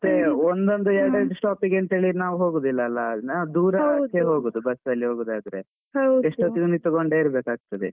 ಮತ್ತೆ ಒಂದೊಂದು, ಎರೆಡೆರಡು stop ಗೆಂತ ಹೇಳಿ ನಾವು ಹೋಗುದಿಲ್ಲ ಅಲ್ಲ. ನಾವು ದೂರ ಇದ್ದದ್ದಕ್ಕೆ ಹೋಗುದು. bus ಅಲ್ಲಿ ಹೋಗೂದಾದ್ರೆ.ಎಷ್ಟು ಹೊತ್ತು ನಿಂತ್ಕೊಂಡೇ ಇರ್ಬೇಕಾಗತ್ತದೆ.